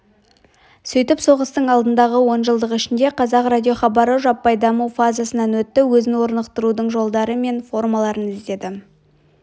сөйтіп соғыстың алдындағы онжылдық ішінде қазақ радиохабары жаппай даму фазасынан өтті өзін орнықтырудың жолдары мен формаларын іздеді